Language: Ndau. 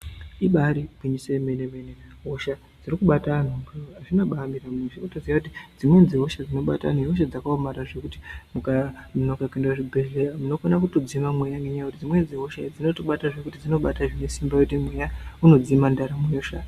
Ibaari gwinyisi yemene mene hosha dzirikubata antu , dzimweni dzehosha dzinobate zvakaomarara zvekuti muntu akanonoka kuenda kuchibhedhlera unokona kutodzima mweya ngokuti dzimweni dzehosha dzinobate ngesimba zvekuti muntu otofa .